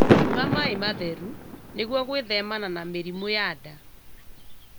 Nyua maĩ matheru nĩguo gwĩthemana na mĩrimũ ya nda